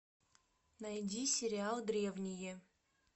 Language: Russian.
найди сериал древние